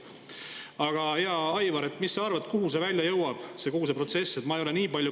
Aga hea Aivar, mis sa arvad, kuhu kogu see protsess välja jõuab?